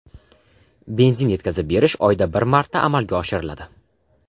Benzin yetkazib berish oyda bir marta amalga oshiriladi.